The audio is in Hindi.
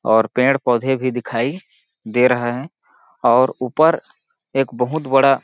और पेड़-पौधे भी दिखाई दे रहा है और ऊपर एक बहुत बड़ा --